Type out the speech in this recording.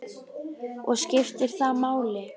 Og skiptir það máli?